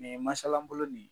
masala bolo nin